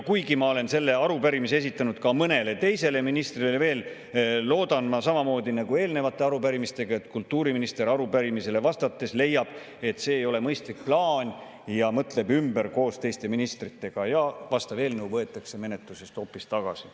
Ma olen selle arupärimise esitanud ka mõnele teisele ministrile ja loodan samamoodi nagu eelnevate arupärimiste puhul, et kultuuriminister arupärimisele vastates leiab, et see ei ole mõistlik plaan, ja mõtleb koos teiste ministritega ümber ja vastav eelnõu võetakse menetlusest hoopis tagasi.